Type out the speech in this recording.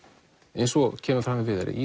eins og kemur fram hjá Viðari